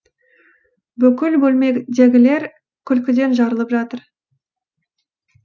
бүкіл бөлмедегілер күлкіден жарылып жатыр